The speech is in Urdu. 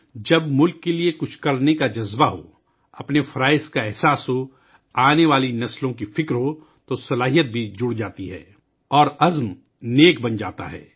جب ملک کے لئے کچھ کرنے کا جذبہ ہو، اپنے فرض کا احساس ہو، آنے والی نسلوں کی فکر ہو تو طاقت بھی شامل ہو جاتی ہے اور عزم بھی بلند ہو جاتا ہے